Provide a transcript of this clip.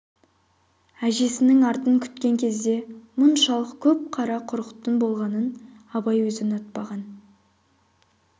әжесінің артын күткен кезде мұншалық көп қара құрықтың болғанын абай өзі ұнатпаған